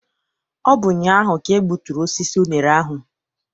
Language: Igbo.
Ọ bụ ụnyaahụ ka e gbuturu osisi unere ahụ.